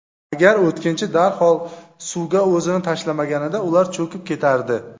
Agar o‘tkinchi darhol suvga o‘zini tashlamaganida ular cho‘kib ketardi.